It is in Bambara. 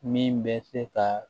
Min bɛ se ka